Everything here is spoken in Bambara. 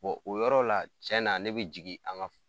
o yɔrɔ la tiɲɛ na ne bɛ jigin an ka